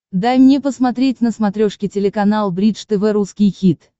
дай мне посмотреть на смотрешке телеканал бридж тв русский хит